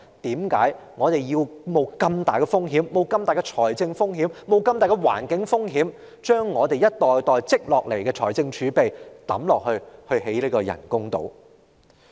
為何我們要冒這樣大的風險、冒這樣大的財政風險、冒這樣大的環境風險，將我們一代代積累下來的儲備投入興建人工島呢？